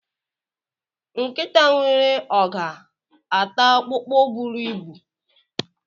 Nkita nwere ọga ata ọkpụkpụ buru ibu?